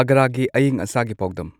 ꯑꯒ꯭ꯔꯥꯒꯤ ꯑꯏꯪ ꯑꯁꯥꯒꯤ ꯄꯥꯎꯗꯝ